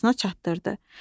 asına çatdırdı.